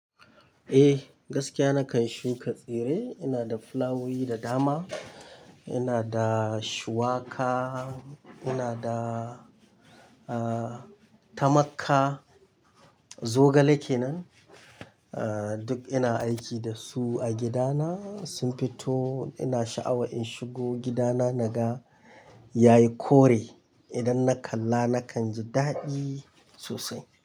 Eh, gaskiya nakan shuka tsire. Ina da fulawowi da dama, ina da shuwaka, ina da, ah, tamakka. Zogale kenan. Ah, duk ina aiki da su a gidana. Sun fito ina sha'awa in shigo gidana naga yayi kore. Idan na kalla nakan ji daɗi sosai.